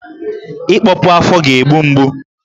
Ịkpọpu afọ ga-egbu mgbu